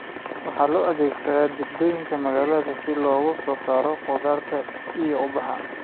Waxaa loo adeegsadaa jardiinooyinka magaalada si loogu soo saaro khudaarta iyo ubaxa.